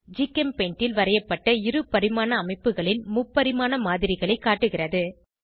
GChemPaint ல் வரையப்பட்ட இருபரிமாண அமைப்புகளின் முப்பரிமாண மாதிரிகளை காட்டுகிறது